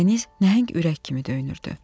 Dəniz nəhəng ürək kimi döyünürdü.